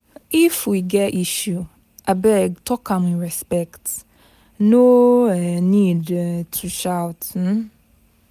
If we get issue, abeg talk am with respect, no um need um to shout. um